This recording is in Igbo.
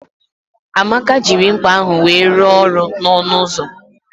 Amaka jiri mkpa ahụ wee rụọ ọrụ n'ọnụ ụzọ